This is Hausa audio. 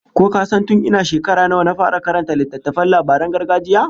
Ko ka san tun ina shekara nawa na fara karanta littattafan labaran gargajiya?